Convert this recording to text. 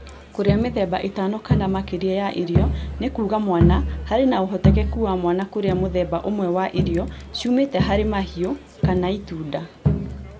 Kũria mĩthemba ĩtano kana makĩria ya irio nĩ kuuga mwana harĩ na ũhotekeku wa mwana kũrĩa mũthemba ũmwe wa irio ciumĩte hari mahiũ kana itunda